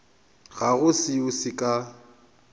ga go seo se ka